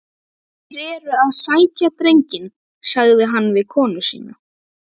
Þeir eru að sækja drenginn, sagði hann við konu sína.